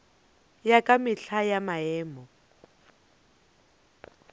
ya ka mehla ya maemo